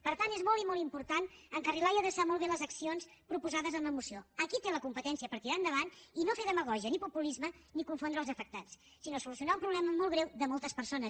per tant és molt i molt important encarrilar i adreçar molt bé les accions proposades en la moció a qui té la competència per tirar les endavant i no fer demagògia ni populisme ni confondre els afectats sinó solucionar un problema molt greu de moltes persones